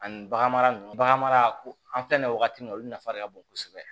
Ani bagan mara ninnu baganmara ko an filɛ wagati min olu nafa de ka bon kosɛbɛ